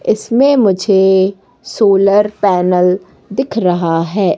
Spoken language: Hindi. इसमें मुझे सोलर पैनल दिख रहा है।